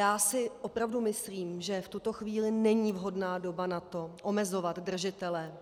Já si opravdu myslím, že v tuto chvíli není vhodná doba na to omezovat držitele